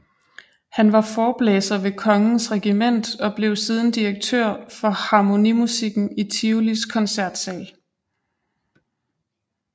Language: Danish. Han var forblæser ved Kongens Regiment og blev siden direktør for harmonimusikken i Tivolis Koncertsal